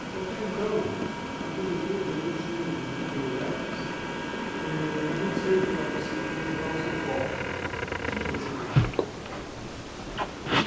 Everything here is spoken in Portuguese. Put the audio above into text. Porque até então, a juventude, eu costumo, inclusive tenho netos, é muito cedo para você encontrar o seu foco, o que você quer ser.